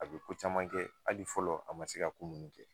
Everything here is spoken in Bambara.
A bɛ ko caman kɛ hali fɔlɔ a ma se ka ko ninnu kɛ